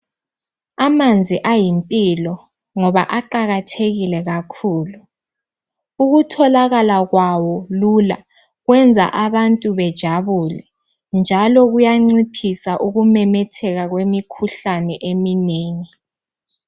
Amanzi ayimpilo, ngoba aqakathekile kakhulu. Ukutholakala kwawo lula kuyenza abantu bejabule, njalo kuyanciphisa ukumemetheka kwemikhuhlane eminengi.